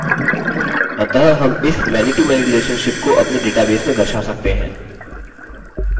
अतः हम इस manytomany relationship को अपने database में दर्शा सकते हैं